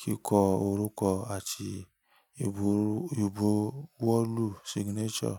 kíkọ orúkọ àti ìbọwọ́lù signature.